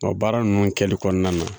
Nka baara ninnu kɛli kɔnɔna na